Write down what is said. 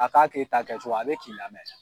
A k'a k'e ta kɛcogo ye a be k'i lamɛ